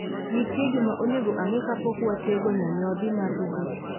Nitie gima onego ang'e kapok watego nyanyodhi mar robot